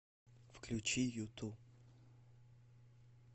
включи юту